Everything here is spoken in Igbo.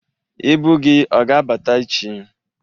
Ibu gị ọ ga-abata ech?